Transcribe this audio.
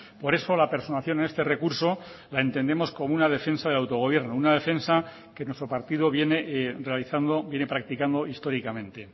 por eso la personación en este recurso la entendemos como una defensa de autogobierno una defensa que nuestro partido viene realizando viene practicando históricamente